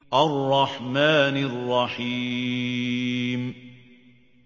الرَّحْمَٰنِ الرَّحِيمِ